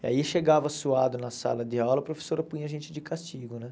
E aí chegava suado na sala de aula, a professora punha a gente de castigo, né?